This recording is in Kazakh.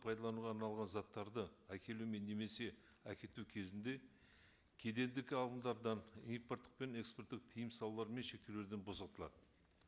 пайдалануға арналған заттарды әкелумен немесе әкету кезінде кедендік алымдардан импорттық пен экспорттық тыйым салулар мен шектеулерден босатылады